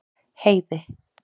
Heiði